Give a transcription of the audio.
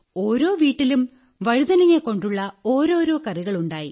ഒരോ വീട്ടിലും വഴുതനങ്ങ കൊണ്ടുള്ള ഓരോരോ കറികൾ ഉണ്ടായി